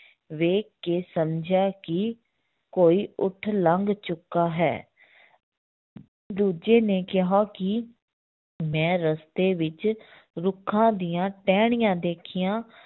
ਵੇਖ ਕੇ ਸਮਝਿਆ ਕਿ ਕੋਈ ਊਠ ਲੰਘ ਚੁੱਕਾ ਹੈ ਦੂਜੇ ਨੇ ਕਿਹਾ ਕਿ ਮੈਂ ਰਸਤੇ ਵਿੱਚ ਰੁੱਖਾਂ ਦੀਆਂ ਟਹਿਣੀਆਂ ਦੇਖੀਆਂ